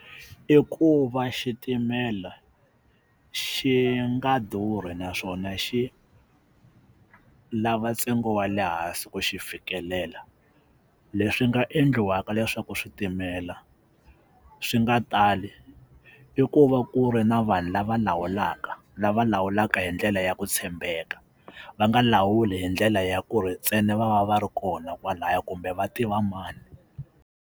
I ku va xitimela xi nga durhi naswona xi lava ntsengo wa le hansi ku xi fikelela leswi nga endliwaka leswaku switimela swi nga tali i ku va ku ri na vanhu lava lawulaka lava lawulaka hi ndlela ya ku tshembeka va nga lawuli hi ndlela ya ku ri ntsena va va va ri kona kwalaya kumbe va tiva mani.